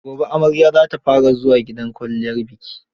Gobe amarya za ta fara zuwa gidan kwalliyar biki.